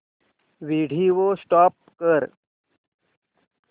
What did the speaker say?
video stop कर